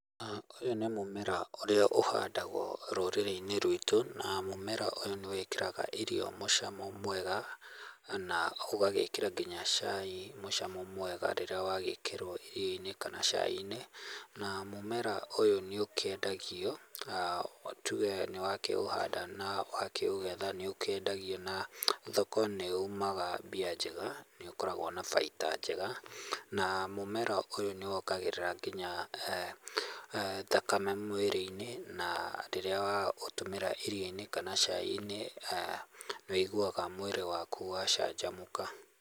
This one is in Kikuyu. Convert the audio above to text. Ũyũ nĩ mũmera ũrĩa ũhandagwo rũrĩrĩ-inĩ rwitũ, na mũmera ũyũ nĩ wĩkĩraga irio mũcamo mwega, na ũgagĩkĩra nginya cai mũcamo mwega rĩrĩa wagikĩrwo irio-inĩ kana cai-inĩ. Na mũmera ũyũ nĩ ũkĩendagio, na tuge nĩwakĩũhanda na wakĩũgetha nĩ ũkĩendagio na thoko nĩ ũmaga mbia njega, nĩ ũkoragwo na baita njega, na mũmera ũyũ nĩ wongagĩrĩra nginya thakame mwĩrĩ-inĩ, na rĩrĩa waũtũmĩra irio-inĩ kana cai-inĩ, wũiguaga mwĩrĩ waku wacanjamũka.